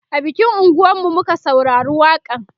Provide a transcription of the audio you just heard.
a bikin unguwan mu muka saurari waƙa n